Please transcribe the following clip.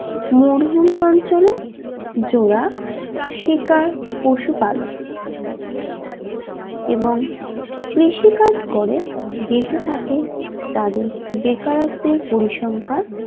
মরুভূমি অঞ্চলে জোড়া শিকার পশুপালক এবং কৃষিকাজ করে বেঁচে থাকে তাদের বেকারত্বের পরিসংখ্যা